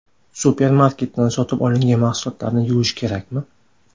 Supermarketdan sotib olingan mahsulotlarni yuvish kerakmi?